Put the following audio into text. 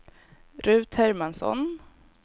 Rut Hermansson